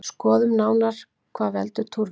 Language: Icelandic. Skoðum nánar hvað veldur túrverkjum.